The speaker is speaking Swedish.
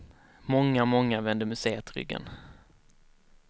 Många, många vände museet ryggen.